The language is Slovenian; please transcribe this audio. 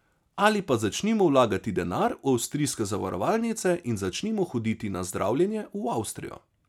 Ali pa začnimo vlagati denar v avstrijske zavarovalnice in začnimo hoditi na zdravljenje v Avstrijo.